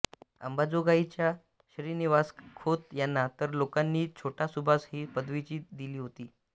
अंबाजोगाईच्या श्रीनिवास खोत यांना तर लोकांनी छोटा सुभाष ही पदवीच दिली होती